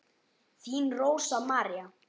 Þín Rósa María.